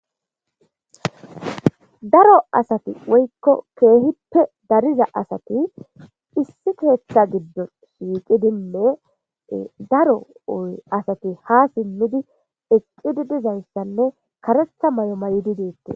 Daro asat woyko keehippe dariza asati issi ketha gidon shiiqidinne daro asat ha simid karetha mayo mayid detes.